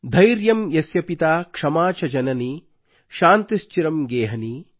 ಧೈರ್ಯ ಯಸ್ಯ ಪಿತಾ ಕ್ಷಮಾ ಚ ಜನನೀ ಶಾಂತಿಶ್ಚಿರಂ ಗೇಹನೀ